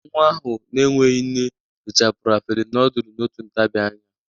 Nwa ahụ n'enweghi nne richapuru afere nudul n'otu ntabi anya.